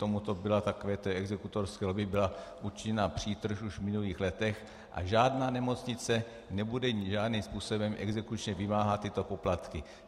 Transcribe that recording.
Tomuto byla, takovéto exekutorské lobby byla učiněna přítrž už v minulých letech a žádná nemocnice nebude žádným způsobem exekučně vymáhat tyto poplatky.